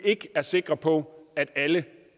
ikke er sikre på at alle